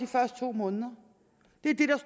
første to måneder